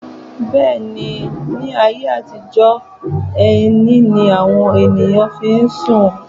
Bẹ́ẹ̀ ni, ní ayé àtijọ́, ẹní ní àwọn èèyàn fí ń sùn.